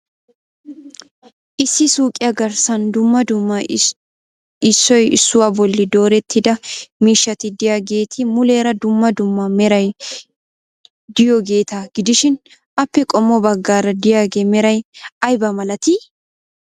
Issi suuqqiya garssan dumma dumma issoy issuwaa bolli doorettida miishshati de'iyaageeti muleera dumma dumma meray de'iyoogeeta gidishin appe qommo baggaara de'iyaaga meray aybna malattii?